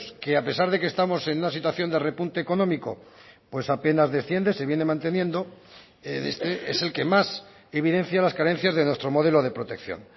que a pesar de que estamos en una situación de repunte económico pues apenas desciende se viene manteniendo es el que más evidencia las carencias de nuestro modelo de protección